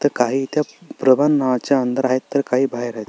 तर काही त्या प्रबनाच्या अंदर आहेत काही बाहेर आहेत.